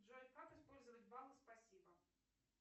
джой как использовать баллы спасибо